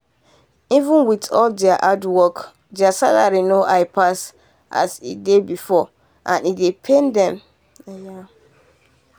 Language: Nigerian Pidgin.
even with all their hard work their salary no high pass as e dey before and e dey pain dem. eiya